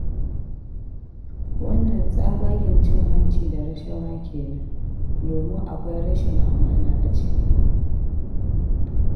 Wannan tsabagen cin hanci da rashawa kenan, domin akwai rashin amana a ciki.